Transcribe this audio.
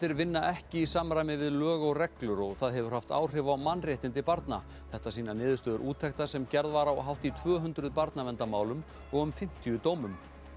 vinna ekki í samræmi við lög og reglur og það hefur haft áhrif á mannréttindi barna þetta sýna niðurstöður úttektar sem gerð var á hátt í tvöhundruð barnaverndarmálum og um fimmtíu dómum